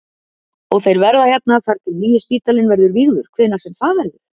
Og þeir verða hérna þangað til að nýi spítalinn verður vígður hvenær sem það verður?